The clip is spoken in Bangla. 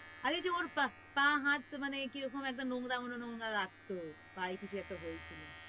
আরে যে ওর পা পা হাত মানে কিরকম একটা নোংরা নোংরা লাগতো পায়ে কিছু একটা হয়েছিল